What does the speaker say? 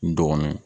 N dɔgɔnin